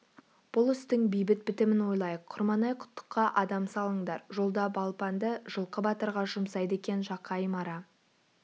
бұл істің бейбіт бітімін ойлайық құрманай-құттыққа адам салыңдар жолда балпанды жылқы батырға жұмсайды екен жақайым ара